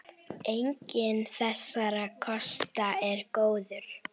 Enginn þessara kosta er góður.